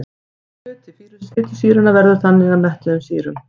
Hluti fitusýranna veður þannig að mettuðum sýrum.